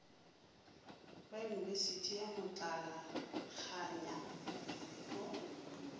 ba yunibesithi ya motlalakganya go